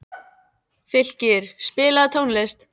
Fylkir, spilaðu tónlist.